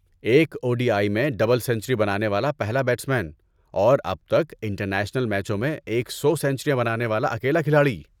ایک O D I میں double century بنانے والا پہلا بیٹسمین، اور اب تک انٹرنیشنل میچوں میں ایک سو سنچریاں بنانے والا اکیلا کھلاڑی